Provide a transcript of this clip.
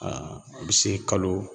Aa a be se kalo